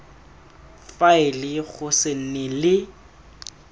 faele go se nne le